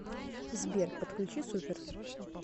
сбер подключи супер